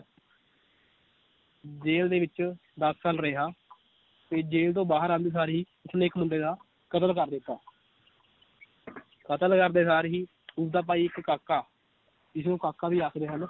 jail ਦੇ ਵਿਚ ਦਸ ਸਾਲ ਰਿਹਾ ਤੇ ਜੇਲ ਤੋਂ ਬਾਹਰ ਆਉਂਦੇ ਸਾਰ ਹੀ ਉਸਨੇ ਇਕ ਮੁੰਡੇ ਦਾ ਕਤਲ ਕਰ ਦਿੱਤਾ ਕਤਲ ਕਰਦੇ ਸਾਰ ਹੀ ਉਸ ਦਾ ਭਾਈ ਇਕ ਕਾਕਾ ਜਿਸਨੂੰ ਕਾਕਾ ਵੀ ਆਖਦੇ ਹਨ l